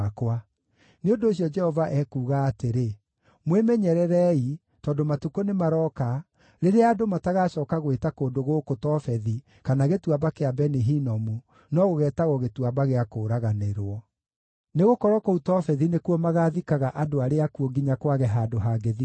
Nĩ ũndũ ũcio Jehova ekuuga atĩrĩ, mwĩmenyererei, tondũ matukũ nĩmarooka, rĩrĩa andũ matagacooka gwĩta kũndũ gũkũ Tofethi kana Gĩtuamba kĩa Beni-Hinomu, no gũgeetagwo Gĩtuamba gĩa Kũũraganĩrwo. Nĩgũkorwo kũu Tofethi nĩkuo magaathikaga andũ arĩa akuũ nginya kwage handũ hangĩthikanwo.